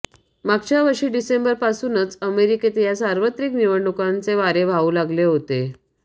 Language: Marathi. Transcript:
मागच्या वर्षी डिसेंबरपासूनच अमेरिकेत या सार्वत्रिक निवडणुकांचे वारे वाहू लागले होते